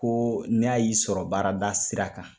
Ko n'a y'i sɔrɔ baarada sira kan,